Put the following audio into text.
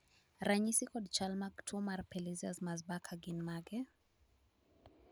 ranyisi kod chal mag tuo mar Pelizaeus Merzbacher gin mage?